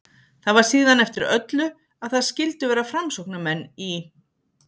Það var síðan eftir öllu að það skyldu vera framsóknarmenn í